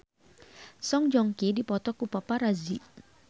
Song Joong Ki dipoto ku paparazi